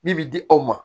Min bi di aw ma